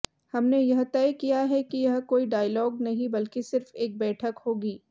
हमने यह तय किया है कि यह कोई डायलॉग नहीं बल्कि सिर्फ एक बैठक होगी